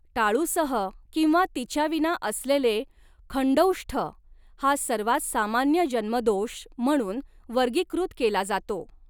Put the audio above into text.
टाळूसह किंवा तिच्याविना असलेले खंडौष्ठ हा सर्वात सामान्य जन्मदोष म्हणून वर्गीकृत केला जातो.